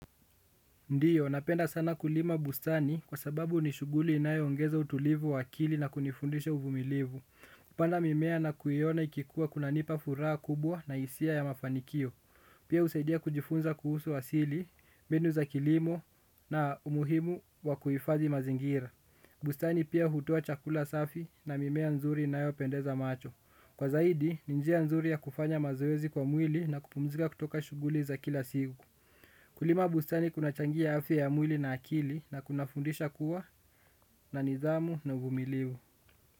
Ndiyo, napenda sana kulima bustani kwa sababu ni shughuli inayoongeza utulivu wa akili na kunifundisha uvumilivu. Kupanda mimea na kuiona ikikuwa kunanipa furaha kubwa na hisia ya mafanikio. Pia husaidia kujifunza kuhusu asili, mbinu za kilimo na umuhimu wa kuhifadhi mazingira. Bustani pia hutoa chakula safi na mimea nzuri inayopendeza macho. Kwa zaidi, ni njia nzuri ya kufanya mazoezi kwa mwili na kupumzika kutoka shughuli za kila siku. Kulima busani kunachangia afya ya mwili na akili na kunafundisha kuwa na nidhamu na uvumilivu.